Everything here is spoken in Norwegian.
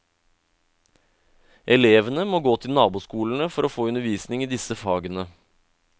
Elevene må gå til naboskolene for å få undervisning i disse fagene.